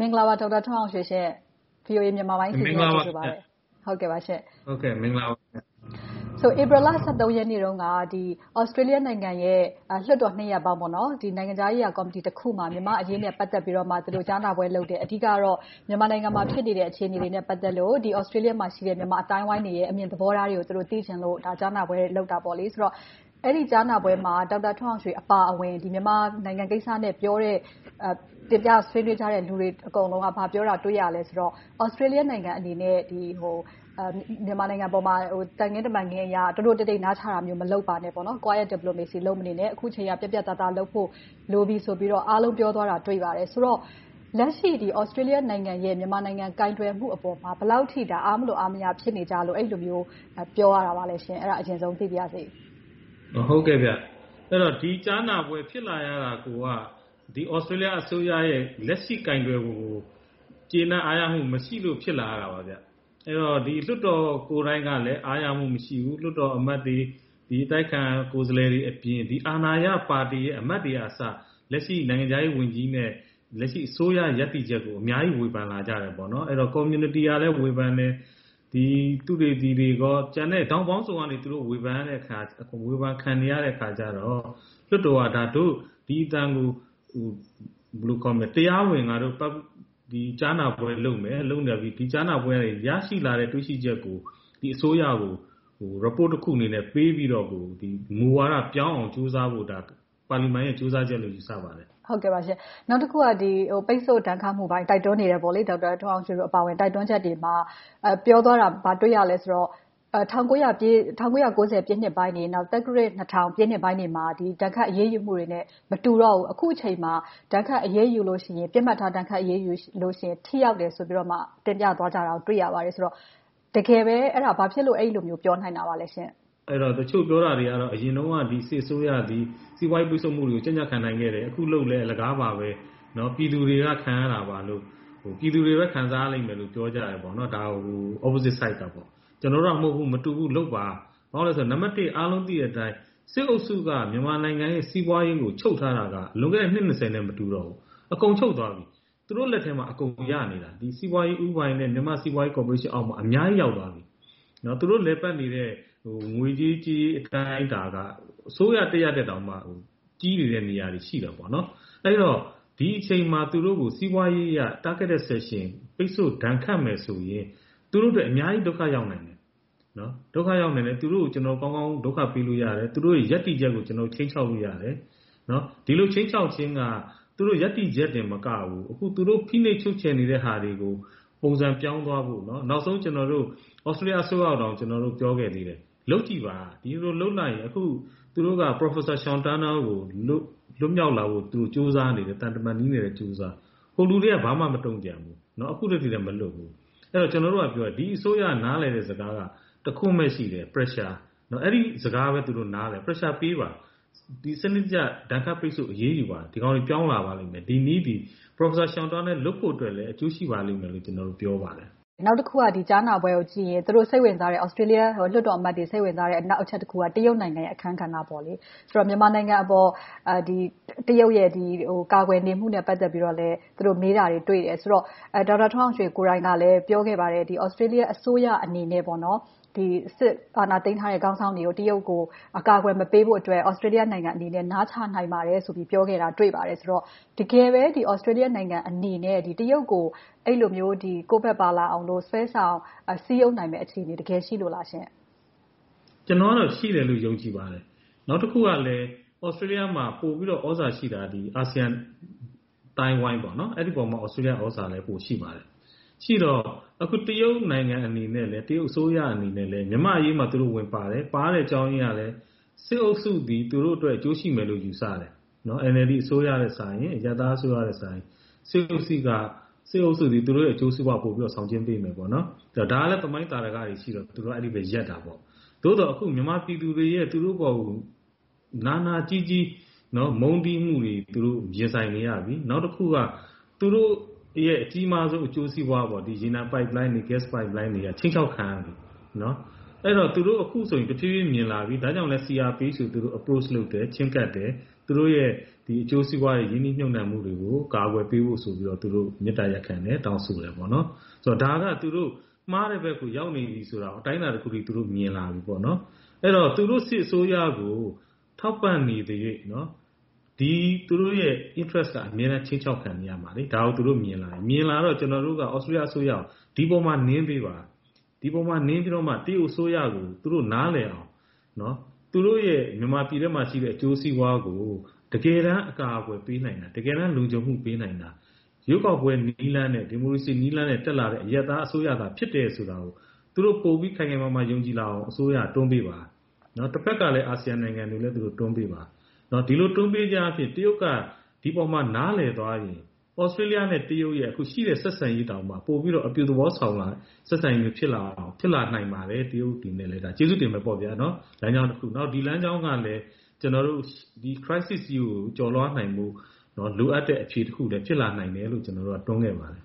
မင်္ဂလာပါ ဒေါက်တာထွန်းအောင်ရွှေရှင့်။ VOA မြန်မာပိုင်းအစီအစဉ်ကို ကြိုဆိုပါတယ်။ ဧပြီလ ရက်နေ့တုန်းက သြစတေးလျနိုင်ငံရဲ့ လွှတ်တော်နှစ်ရပ်ပေါင်းရဲ့ နိုင်ငံခြားရေးရာကော်မတီတစ်ခုမှာ မြန်မာ့အရေးနဲ့ ပတ်သက်ပြီးတော့ ကြားနာပွဲလုပ်တယ်။ အဓိကတော့ မြန်မာနိုင်ငံမှာ ဖြစ်နေတဲ့ အခြေအနေတွေနဲ့ ပတ်သက်လို့ သြစတေးလျမှာရှိတဲ့ မြန်မာအသိုင်းအဝိုင်းတွေရဲ့ အမြင်သဘောထားတွေကို သိချင်လို့ ကြားနာပွဲလုပ်တယ်ဆိုတော့ အဲဒီကြားနာပွဲမှာ ဒေါက်တာထွန်းအောင်ရွှေအပါအဝင် မြန်မာနိုင်ငံကိစ္စနဲ့ပြောတဲ့ တင်ပြဆွေးနွေးကြတဲ့ လူတွေအကုန်လုံးက ဘာပြောတာတွေ့ရသလဲဆိုတော့ သြစတေးလျနိုင်ငံအနေနဲ့ မြန်မာနိုင်ငံပေါ်မျာ သံခင်းတမန်ခင်းအရ တိုးတိုးတိတ်တိတ် နားချတာမျိုး မလုပ်ပါနဲ့ Quite Diplomacy လုပ်မနေနဲ့။ အခုအချိန်က ပြတ်ပြတ်သားသားလုပ်ဖို့ လိုပြီဆိုပြီးတော့ အားလုံးက ပြောသွားတာကို တွေ့ရပါတယ်။ ဆိုတော့ လက်ရှိ သြစတေးလျနိုင်ငံရဲ့ မြန်မာနိုင်ငံပေါ် ကိုင်တွယ်မှုအပေါ် ဘယ်လောက်အထိ အားမလိုအားမရ ဖြစ်နေကြလို့ အဲဒီလိုမျိုး ပြောရတာလဲ။ အဲဒါကို အရင်ဦးဆုံး သိပါရစေ။ ဒီကြားနာပွဲ ဖြစ်လာရတာကိုက သြစတေးလျအစိုးရရဲ့ လက်ရှိကိုင်တွယ်ပုံကို ကျေနပ်အားရမှု မရှိလို့ ဖြစ်လာရတာပါ။ အဲဒီတော့ လွှတ်တော်ကိုယ်တိုင်ကလဲ အားရမှုမရှိဘူး။ လွှတ်တော်အမတ်တွေ၊ အတိုက်အခံ ကိုယ်စားလှယ်တွေအပြင် အာဏာရပါတီရဲ့ အမတ်တွေကအစ လက်ရှိနိုင်ငံခြားရေးဝန်ကြီးနဲ့ အစိုးရရပ်တည်ချက်ကို အများကြီးဝေဖန်လာကြတယ်။ ကွန်မြူနီတီကလည်း ဝေဖန်တယ်။ သုတေသီတွေနဲ့ ထောင့်ပေါင်းစုံကနေ ဝေဖန်ခံနေရတဲ့အခါကြတော့ လွှတ်တော်က ဒို့ဒီအသံကို တရားဝင်ကြားနာပွဲလုပ်မယ်။ လုပ်ပြီးတော့ ဒီကြားနာပွဲကနေ ရရှိလာတဲ့ တွေ့ရှိချက်ကို အစိုးရကို report တခုအနေနဲ့ပေးပြီးတော့ မူဝါဒပြောင်းအောင် ကြိုးစားဖို့ ပါလီမန်ရဲ့ ကြိုးစားချက်လို့ ယူဆပါတယ်။ နောက်တခုက ပိတ်စို့ဒဏ်ခတ်မှုပေါ် တိုက်တွန်းနေတဲ့ ဒေါက်တာထွန်းအောင်ရွှေတို့ တိုက်တွန်းချက်တွေမှာ ပြောသွားတာ ဘာတွေ့ရသလဲဆိုတော့ ၁၉၉၀ ပြည့်နှစ်ပိုင်းတွေ၊ သက္ကရာဇ် ၂၀၀၀ ပြည့်နှစ်ပိုင်းတွေမှာ ဒဏ်ခတ်အရေးယူမှုတွေနဲ့ မတူတော့ဘူး။ အခုအချိန်မှာ ဒဏ်ခတ်အရေးယူတဲ့အခါမှာ ပစ်မှတ်ထား ဒဏ်ခတ်အရေးယူမယ်ဆိုရင် ထိရောက်တယ်ဆိုပြီးတော့ တင်ပြသွားကြတာကို တွေ့ရပါတယ်။ တကယ်ပဲ အဲဒီလို ဘာကြောင့်ပြောနိုင်ပါလဲရှင့်။ တချို့ပြောကြတာတွေကတော့ အရင်တုန်းက စစ်အစိုးရက စီးပွားရေးပိတ်စို့မှုတွေကို ကြံ့ကြံ့ခံနိုင်ခဲ့တယ်။ အခုလုပ်လဲ အလကားပါပဲ။ ပြည်သူတွေက ခံရတာပါလို့၊ ပြည်သူတွေပဲ ခံစားရမယ်လို့ ပြောကြတယ်။ ဒါကို opposite side ကပေါ့။ ကျနော်တို့က မတူဘူး။ လုပ်ပါ ဘာဖြစ်လို့လဲဆိုတော့ အားလုံးသိတဲ့အတိုင်း စစ်အုပ်စုက မြန်မာနိုင်ငံရဲ့ စီးပွားရေးကို ချုပ်ထားတာက လွန်ခဲ့တဲ့ နှစ် နဲ့ မတူတော့ဘူး။ အကုန်ချုပ်သွားတာ။ သူတို့လက်ထဲမှာ အကုန်ရနေတာ။ စီးပွားရေးဦးပိုင်နဲ့ မြန်မာ့စီးပွားရေးကော်ပိုရေးရှင်အောက်မှာ အများကြီးရောက်သွားပြီ။ သူတို့လည်ပတ်နေတဲ့ ငွေရေးကြေးရေး အတိုင်းအတာက အစိုးရတရပ်ထက် ကြီးနေတဲ့ နေရာတွေ ရှိနေတယ်။ အဲဒီတော့ ဒီအချိန်မှာ သူတို့ကို စီးပွားရေးအရ Targeted Sanction ပိတ်စို့ဒဏ်ခတ်မယ်ဆိုရင် သူတို့အတွက် အများကြီးဒုက္ခရောက်နိုင်တယ်။ သူတို့ကို ကျနော်တို့ ကောင်းကောင်းဒုက္ခပေးနိုင်တယ်။ သူတို့တွေရဲ့ ရပ်တည်ချက်ကို ခြိမ်းခြောက်လို့ရတယ်။ ဒီလိုခြိမ်းခြောက်ခြင်းက သူတို့ရပ်တည်ချက်တင်မကဘူး၊ အခု သူတို့ဖိနှိပ်ချုပ်ချယ်နေတဲ့ဟာတွေကို ပုံစံပြောင်းသွားဖို့။ နောက်ဆုံး ကျနော်တို့ သြစတေးလျအစိုးရကိုတောင် ပြောခဲ့သေးတယ်။ လုပ်ကြည့်ပါ။ ဒီလိုလုပ်လိုက်ရင် သူတို့က Professor Sean Turnell လွတ်မြောက်လာဖို့ကို ကြိုးစားနေတယ်။ သံတမန်ရေးနဲ့လည်း ကြိုးစားနေတယ်။ စစ်တပ်က ဘာမှမတုံ့ပြန်ဘူး။ အခုထက်ထိလဲ မလွတ်ဘူး။ ကျနော်တို့ကပြောတာ ဒီအစိုးရ နားလည်တဲ့စကားက တခွန်းပဲရှိတယ် ‘Pressure’ အဲဒီစကားကိုပဲ သူတို့နားလည်တယ်။ Pressure ပေးပါ။ စနစ်တကျ ဒဏ်ခတ်အရေးယူပါ။ ဒီကောင်တွေ ပြောင်းလာပါလိမ့်မယ်။ ဒီနည်းသည် Professor Sean Turnell လွတ်ဖို့အတွက်လည်း အကျိုးရှိပါလိမ့်မယ်လို့ ကျနော်တို့ ပြောပါတယ်။ နောက်တခုက ဒီကြားနာပွဲကိုကြည့်ရင် သူတို့စိတ်ဝင်စားတဲ့ သြစတေးလျ လွှတ်တော်အမတ်တွေ စိတ်ဝင်စားတဲ့ နောက်တချက်က တရုတ်နိုင်ငံရဲ့ အခန်းကဏ္ဍ။ ဆိုတော့ မြန်မာနိုင်ငံအပေါ် တရုတ်ရဲ့ ကာကွယ်နေမှုနဲ့ ပတ်သက်လို့လဲ သူတို့မေးတာတွေကို တွေ့ရတယ်ဆိုတော့ ဒေါက်တာထွန်းအောင်ရွှေကိုယ်တိုင်ကလဲ ပြောခဲ့ပါတယ် သြစတေးလျအစိုးရအနေနဲ့ စစ်အာဏာသိမ်းထားတဲ့ စစ်ခေါင်းဆောင်တွေကို တရုတ်ကို အကာအကွယ်မပေးဖို့ သြစတေးလျနိုင်ငံအနေနဲ့ နားချနိုင်ပါတယ်ဆိုပြီး ပြောခဲ့တာကို တွေ့ရပါတယ်။ တကယ်ပဲ သြစတေးလျနိုင်ငံအနေနဲ့ တရုတ်ကို အဲဒီလိုမျိုး ကိုယ်ဘက်ပါလာအောင်လို့ ဆွဲဆောင်စည်းရုံးနိုင်မယ့် အခြေအနေ တကယ်ရှိလို့လားရှင့်။ ကျနော်ကတော့ ရှိတယ်လို့ ယုံကြည်ပါတယ်။ နောက်တခုကလဲ သြစတေးလျမှာ ပိုပြီးတော့ သြဇာရှိတာက အာဆီယံအသိုင်းအဝိုင်း။ အဲဒီအပေါ် သြစတေးလျ သြဇာက ပိုရှိပါတယ်။ ရှိတော့ တရုတ်နိုင်ငံအနေနဲ့ တရုတ်အစိုးရအနေနဲ့ မြန်မာ့အရေးမှာ သူတို့ဝင်ပါတယ်။ ဝင်ပါတဲ့အကြောင်းရင်းက စစ်အုပ်စုသည် သူတို့အတွက် အကျိုးရှိမယ်လို့ ယူဆတယ်။ NLD အစိုးရ၊ အရပ်သားအစိုးရထက်စာရင် စစ်အုပ်စုက သူတို့ရဲ့ အကျိုးစီးပွားကို ပိုပြီးတော့ ဆောင်ကျဉ်ပေးမယ်။ ဒါကလဲ သမိုင်းသာဓကတွေ ရှိတာကြောင့် သူတို့က အဲဒီဘက် ရပ်တာပေါ့။ သို့သော် မြန်မာပြည်သူတွေရဲ့ သူတို့အပေါ် နာနာကျည်းကျည်း မုန်းတီးမှုတွေ သူတို့ရင်ဆိုင်နေရပြီ။ နောက်တခုက သူတို့ရဲ့ အကြီးမားဆုံး အကျိုးစီးပွား - ရေနံပိုက်လိုင်းတွေ၊ ဂတ်စ်ပိုက်လိုင်းတွေက ခြိမ်းခြောက်ခံနေရတယ်။ အဲဒီတော့ အခုဆိုရင် သူတို့တဖြည်းဖြည်း မြင်လာပြီ။ ဒါကြောင့်လဲ သူတို့ CRPH ကို Approach ချဉ်းကပ်တယ်။ သူတို့ရဲ့ အကျိုးစီးပွားတွေ၊ ရင်းနှီးမြုပ်နံှမှုတွေကို ကာကွယ်ပေးဖို့ဆိုပြီး မေတ္တာရပ်ခံတယ်။ တောင်းဆိုတယ်။ ဒါက သူတို့မှားတဲ့ဘက်ကို ရောက်နေပြီ အတိုင်းအတာတခုအထိ မြင်လာပြီပေါ့။ အဲဒီတော့ သူတို့စစ်အစိုးရကို ထောက်ပံ့နေသရွေ့၊ သူတို့ရဲ့ interest က အမြဲတမ်းခြိမ်းခြောက်ခံနေရမှာ။ ဒါကို သူတို့မြင်လာတယ်။ မြင်လာတော့ ကျနော်တို့က သြစတေးလျအစိုးရကို ဒီပေါ်မှာ နင်းပေးပါ။ ဒီပေါ်မှာ နင်းပေးပါ။ ဒီပေါ်မှာ နင်းပြီးမှ တရုတ်အစိုးရကို သူတို့နားလည်အောင် သူတို့ရဲ့ မြန်မာပြည်ထဲမှာရှိတဲ့ အကျိုးစီးပွားတွေကို တကယ်တမ်း အကာအကွယ်ပေးနိုင်တာ၊ တကယ်တမ်း လုံခြုံမှုပေးနိုင်တာ ရွေးကောက်ပွဲနည်းလမ်းနဲ့ ဒီမိုကရေစီနည်းလမ်းနဲ့ တက်လာတဲ့ အရပ်သားအစိုးရသာ ဖြစ်တယ်ဆိုတာကို သူတို့ပိုပြီး ခိုင်ခိုင်မာမာ ယုံကြည်လာအောင် အစိုးရက တွန်းပေးပါ။ တဘက်ကလဲ အာဆီယံနိုင်ငံတွေလည်း သူတို့တွန်းပေးပါ။ ဒီလို တွန်းပေးခြင်းအားဖြင့် တရုတ်က ဒီပေါ် နားလည်သွားရင် သြစတေးလျနဲ့ တရုတ်တို့ရဲ့ အခုရှိတဲ့ ဆက်ဆံရေးတောင်မှ ပိုပြီးတော့ အပြုသဘောဆောင်လာတဲ့ ဆက်ဆံရေးမျိုး ဖြစ်လာနိုင်ပါတယ်။ တရုတ်ပြည်အနေနဲ့လည်း ကျေးဇူးတင်မယ်ပေါ့။ ဒါက လမ်းကြာင်းတခု။ ဒီလမ်းကြောင်းကလဲ Crisis ကြီးကို ကျော်လွှာသွားဖို့ လိုအပ်တဲ့ အခြေအနေတခုလို့လဲ ကျနော်တို့က တွန်းခဲ့ပါတယ်။